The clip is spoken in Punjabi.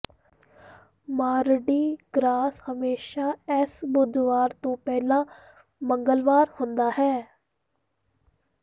ਮਾਰਡੀ ਗ੍ਰਾਸ ਹਮੇਸ਼ਾ ਐਸ਼ ਬੁੱਧਵਾਰ ਤੋਂ ਪਹਿਲਾਂ ਮੰਗਲਵਾਰ ਹੁੰਦਾ ਹੈ